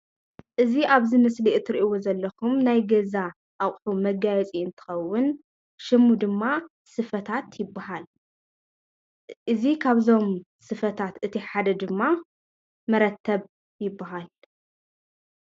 እዚ ኣብዚ ምስሊ ትሪእዎ ዘለኩም ናይ ገዛ ኣቑሑ መጋየፂ እንትከዉን ሽሙ ድማ ስፈታት ይበሃል። እዚ ካብዞም ስፈታት እቲ ሓደ ድማ መረተብ ይበሃል ።